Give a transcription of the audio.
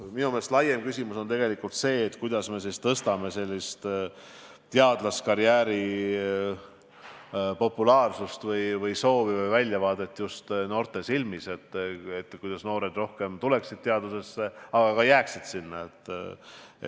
Minu meelest on laiem küsimus tegelikult see, kuidas me tõstame teadlasekarjääri populaarsust või väljavaadet just noorte silmis, nii et rohkem noori tuleks ja ka jääks teadust tegema.